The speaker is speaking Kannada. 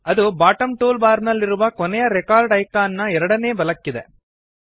ಅದು ಬಾಟಮ್ ಟೂಲ್ ಬಾರ್ ನಲ್ಲಿರುವ ಕೊನೆಯ ರೆಕಾರ್ಡ್ ಐಕಾನ್ ನ ಎರಡನೇ ಬಲಕ್ಕಿದೆ